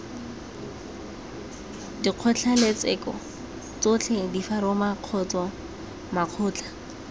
dikgotlatshekelo tsotlhe diforamo kgotsa makgotla